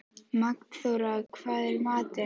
Magnþóra, hvað er í matinn?